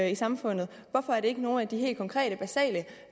i samfundet hvorfor er det ikke nogle af de helt konkrete basale